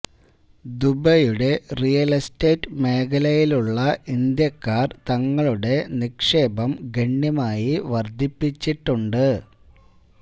ദുബൈയുടെ real estate മേഖലയിലുള്ള ഇന്ത്യക്കാര് തങ്ങളുടെ നിക്ഷേപം ഗണ്യമായി വര്ധിപ്പിച്ചിട്ടുണ്ട്